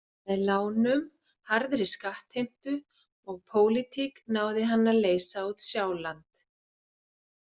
Með lánum, harðri skattheimtu og pólitík náði hann að leysa út Sjáland.